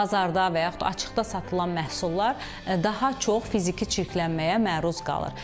Bazarda və yaxud açıqda satılan məhsullar daha çox fiziki çirklənməyə məruz qalır.